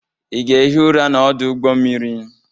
Ị ga-ehi ụra n'ọdụ ụgbọ mmiri?